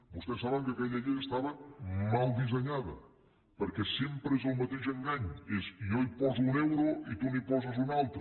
vostès saben que aquella llei estava mal dissenyada perquè sempre és el mateix engany és jo hi poso un euro i tu n’hi poses un altre